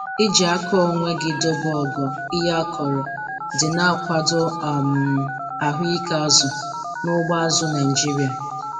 Iji aka onwe gị dobe ogo ihe akọrọ dị na-akwado um ahụike azụ na ugbo azụ̀ Naịjiria.